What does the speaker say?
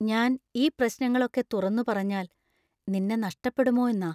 ഞാൻ ഈ പ്രശ്നങ്ങൾ ഒക്കെ തുറന്നു പറഞ്ഞാൽ നിന്നെ നഷ്ടപ്പെടുമോ എന്നാ.